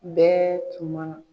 Bɛɛ tun man na.